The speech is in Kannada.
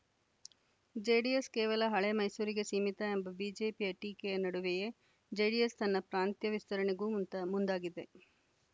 ಜೆಡಿಎಸ್‌ ಕೇವಲ ಹಳೆ ಮೈಸೂರಿಗೆ ಸೀಮಿತ ಎಂಬ ಬಿಜೆಪಿಯ ಟೀಕೆಯ ನಡುವೆಯೇ ಜೆಡಿಎಸ್‌ ತನ್ನ ಪ್ರಾಂತ್ಯ ವಿಸ್ತರಣೆಗೂ ಮುಂದ್ ಮುಂದಾಗಿದೆ